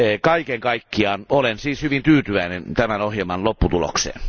Kaiken kaikkiaan olen siis hyvin tyytyväinen tämän ohjelman lopputulokseen.